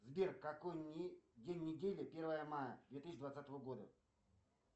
сбер какой день недели первое мая две тысячи двадцатого года